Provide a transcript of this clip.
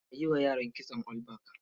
A yi wa yaran kitson all back.